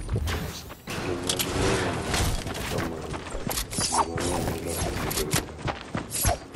Kido mag lewni ma kamago kinde mang’eny iloso gi lwedo.